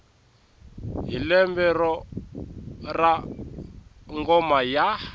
hi lembe ra ngoma ya